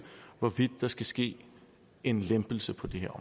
hvorvidt der skal ske en lempelse på det her